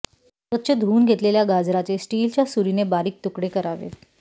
स्वच्छ धूऊन घेतलेल्या गाजराचे स्टीलच्या सुरीने बारीक तुकडे करावेत